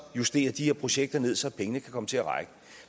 justere de her projekter ned så pengene kan komme til at række